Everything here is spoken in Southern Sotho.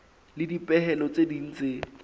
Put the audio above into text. le dipehelo tse ding tse